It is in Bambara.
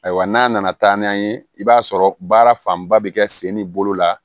Ayiwa n'a nana taa n'a ye i b'a sɔrɔ baara fanba bɛ kɛ sen ni bolo la